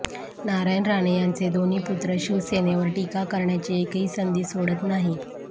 नारायण राणे यांचे दोन्ही पुत्र शिवसेनेवर टीका करण्याची एकही संधी सोडत नाही